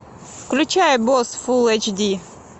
включай босс фулл эйч ди